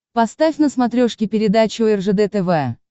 поставь на смотрешке передачу ржд тв